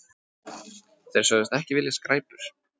Þeir sögðust ekki vilja skræpur.